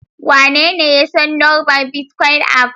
Wanene ya san lambar bitcoin aff?